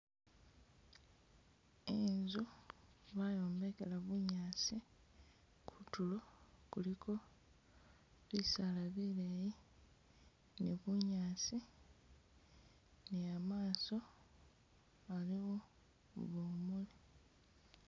Inzu bayombekela bunyaasi kutulo kuliko bisaala bileyi ni bunyaasi ni amaaso aliwo bumuuli.